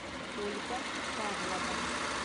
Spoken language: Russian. ольга павлова